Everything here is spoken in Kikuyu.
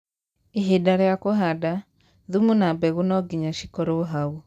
ihinda rĩa kũhanda, thumu na mbegũ no ngĩnya cĩkorwo hau